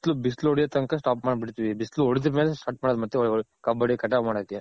ಮತ್ತೆ ಬಿಸ್ಲು ಬಿಸ್ಲ್ ಹೊಡೆಯೋ ತನಕ stop ಮಾಡ್ ಬಿಡ್ತಿವಿ ಬಿಸ್ಲ್ ಹೊಡೆದ್ ಮೇಲೆ start ಮಾಡೋದು ಮತ್ತೆ ಕಬ್ಬ್ ಹೊಡೆದ್ ಮಾಡಕೆ.